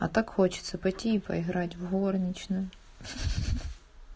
а так хочется пойти и поиграть в горничную